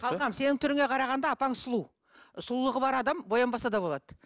қалқам сенің түріңе қарағанда апаң сұлу сұлулығы бар адам боянбаса да болады